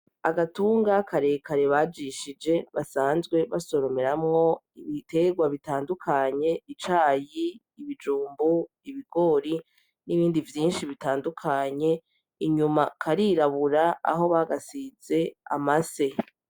Agatunga karekare bajishije basanzwe basoromera mwo ibiterwa bitandukanye icayi, ibijumbu, ibigori n'ibindi vyinshi bitandukanye inyuma karirabura aho bagasize amase.